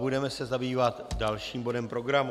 Budeme se zabývat dalším bodem programu.